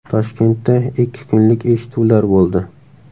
Toshkentda ikki kunlik eshituvlar bo‘ldi.